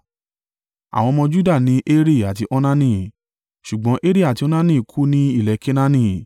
Àwọn ọmọ Juda ni Eri àti Onani, ṣùgbọ́n Eri àti Onani kú ní ilẹ̀ Kenaani.